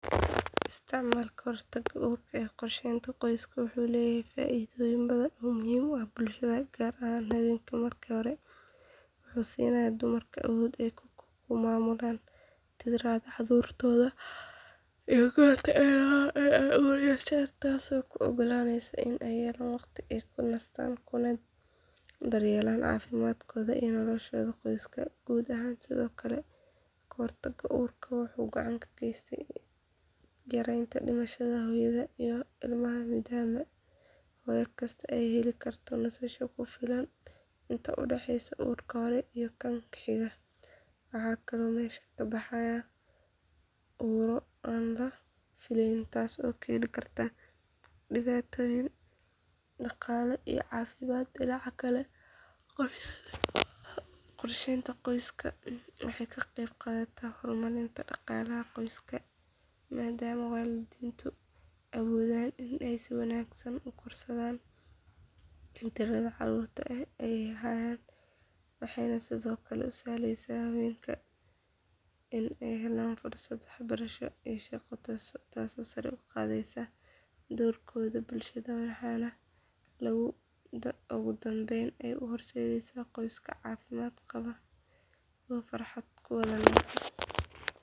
Isticmaalka hortagga uurka ee qorsheynta qoyska wuxuu leeyahay faa’iidooyin badan oo muhiim u ah bulshada gaar ahaan haweenka marka hore wuxuu siinayaa dumarka awood ay ku maamulaan tirada carruurtooda iyo goorta ay rabaan in ay uur yeeshaan taasoo u oggolaanaysa in ay helaan waqti ay ku nastaan kuna daryeelaan caafimaadkooda iyo nolosha qoyska guud ahaan sidoo kale hortagga uurka wuxuu gacan ka geysanayaa yareynta dhimashada hooyada iyo ilmaha maadaama hooyo kastaa ay heli karto nasasho ku filan inta u dhaxeysa uurka hore iyo kan xiga waxaana kaloo meesha ka baxaya uurro aan la fileynin taas oo keeni karta dhibaatooyin dhaqaale iyo caafimaad dhinaca kale qorsheynta qoyska waxay ka qeyb qaadataa horumarinta dhaqaalaha qoyska maadaama waalidiintu awoodaan in ay si wanaagsan u korsadaan tirada carruur ah ee ay hayaan waxayna sidoo kale u sahleysaa haweenka in ay helaan fursado waxbarasho iyo shaqo taasoo sare u qaadaysa doorkooda bulshada waxaana ugu dambayn ay u horseedaysaa qoysas caafimaad qaba oo farxad ku wada nool.